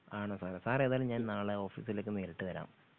ആണോ സാറേ സാറേ ഏതായാലും ഞാൻ നാളെ ഓഫീസിലേക്ക് നേരിട്ട് വരാം